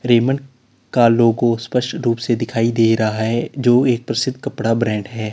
Raymond का logo स्पष्ट रूप से दिखाई दे रहा है जो एक प्रसिद्ध कपड़ा ब्रांड है।